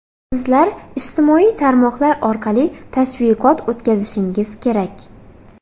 Sizlar ijtimoiy tarmoqlar orqali tashviqot o‘tkazishingiz kerak”.